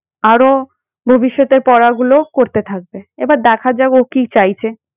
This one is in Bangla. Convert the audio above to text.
আরো ভবিষ্যতের পড়াগুলো করতে থাকবে। এবার দেখা যাক ও কি চাইছে।